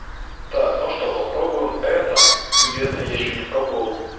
так ну что попробуем это и это ещё не пробовал